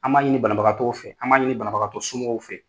An b'a ɲini banabagatɔw fɛ , an b'a ɲini banabagatɔ somɔgɔw fɛ.